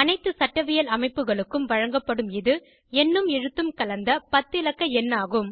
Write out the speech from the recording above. அனைத்து சட்டவியல் அமைப்புகளுக்கும் வழங்கப்படும் இது எண்ணும்எழுத்தும் கலந்த 10 இலக்க எண் ஆகும்